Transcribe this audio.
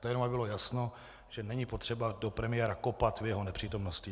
To jenom aby bylo jasno, že není potřeba do premiéra kopat v jeho nepřítomnosti.